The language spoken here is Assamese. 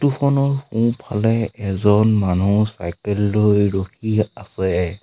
ফটো খনৰ সোঁফালে এজন মানুহ চাইকেল লৈ ৰখি আছে